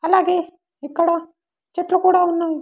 అలాగే ఇక్కడ చెట్లు కూడా ఉన్నావి.